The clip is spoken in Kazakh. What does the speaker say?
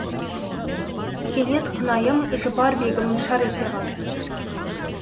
кенет құнайым жұпар бегім шар ете қалды